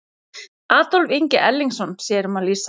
Adolf Ingi Erlingsson sér um að lýsa.